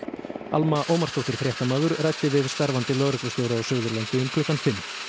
Alma Ómarsdóttir fréttamaður ræddi við starfandi lögreglustjóra á Suðurlandi undir klukkan